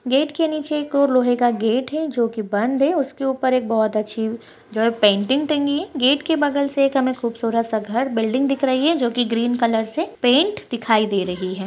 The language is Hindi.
गेट के निचे एक और लोहे का गेट हैं जोकि बंद हैं उसके ऊपर एक बहोत अच्छी सी पेंटिंग टंगी हैंगेट के बगल से खूबसूरत घर बिल्डिंग दिख रही हैं जोकि ग्रीन कलर से पेंट दिखाई दे रही हैं।